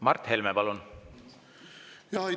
Mart Helme, palun!